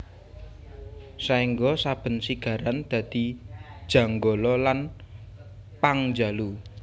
Saéngga saben sigaran dadi Janggala lan Pangjalu